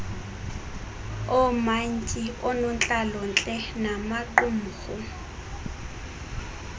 oomantyi oonontlalontle namaqumrhu